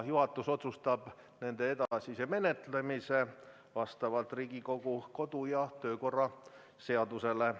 Juhatus otsustab nende edasise menetlemise vastavalt Riigikogu kodu- ja töökorra seadusele.